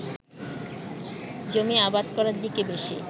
জমি আবাদ করার দিকে বেশি